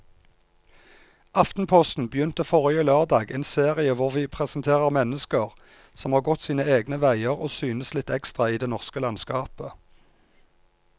Aftenposten begynte forrige lørdag en serie hvor vi presenterer mennesker som har gått sine egne veier og synes litt ekstra i det norske landskapet.